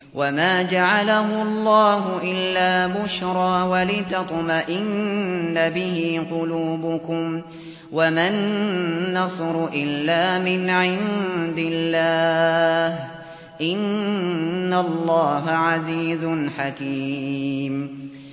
وَمَا جَعَلَهُ اللَّهُ إِلَّا بُشْرَىٰ وَلِتَطْمَئِنَّ بِهِ قُلُوبُكُمْ ۚ وَمَا النَّصْرُ إِلَّا مِنْ عِندِ اللَّهِ ۚ إِنَّ اللَّهَ عَزِيزٌ حَكِيمٌ